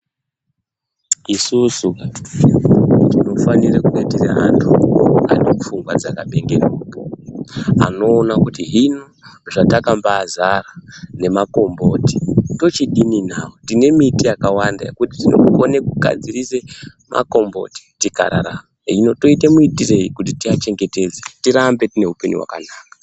Isusu vantu tinofanire kunge tiri antu anenge ane pfungwa dzakabhengenuka anoona kuti hino zvatakambazara nemakomboti tochidii nawo. Tine miti yakawanda yekuti tinogone kugadzirise makomboti tikararama. Hino toite muitiroyi kuti tiachengetedze tirambe tine upenyu hwakanaka?